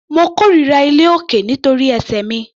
Mo kórira iléolókè nítorí ẹsẹ̀ mi.